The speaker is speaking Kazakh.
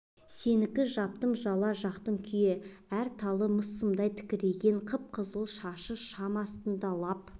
сенікі жаптым жала жақтым күйе әр талы мыс сымдай тікірейген қып-қызыл шашы шам астында лап